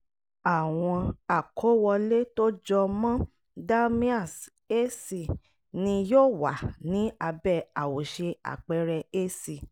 àwọn àkówọlé tó jọ mọ dalmia's a c ni yóò wà ní abẹ́ àwòṣe àpẹẹrẹ a c